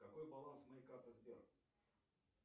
какой баланс моей карты сбер